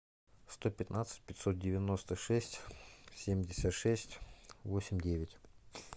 сто пятнадцать пятьсот девяносто шесть семьдесят шесть восемь девять